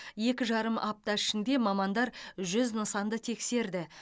екі жарым апта ішінде мамандар жүз нысанды тексерді